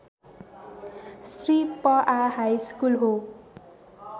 श्री पआ हाइस्कुल हो